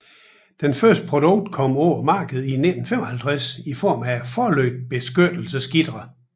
Det første produkt kom på markedet i 1955 i form af forlygtebeskyttelsesgitre